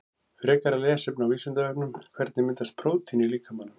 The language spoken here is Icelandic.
Frekara lesefni á Vísindavefnum Hvernig myndast prótín í líkamanum?